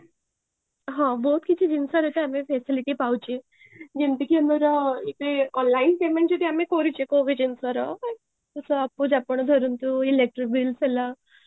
ହଁ ବହୁତ କିଛି ଜିନିଷ ରେ ତ ଆମେ facility ପାଉଛେ ଯେମିତି କି ଆମର ଏବେ online payment ଯଦି ଆମେ କରୁଚେ କୋଉ ବି ଜିନିଷ ର suppose ଆପଣ ଧରନ୍ତୁ electric bills ହେଲା